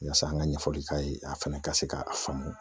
Yaasa an ka ɲɛfɔli k'a ye a fɛnɛ ka se k'a faamu